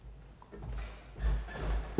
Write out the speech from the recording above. der